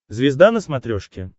звезда на смотрешке